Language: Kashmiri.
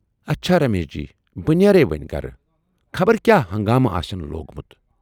اچھا رمیش جی بہٕ نیرے وۅنۍ گرٕ، خبر کیاہ ہنگامہٕ آسن لوگمُت۔